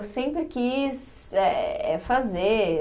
Eu sempre quis eh, eh fazer.